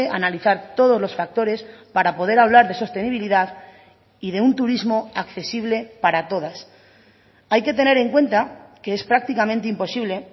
analizar todos los factores para poder hablar de sostenibilidad y de un turismo accesible para todas hay que tener en cuenta que es prácticamente imposible